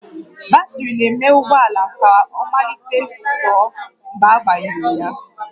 Batrị na-eme ụgbọ ala ka ọ mallite sụọ mgbe agbanyere